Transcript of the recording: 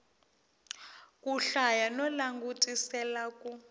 ku hlaya no langutisela ku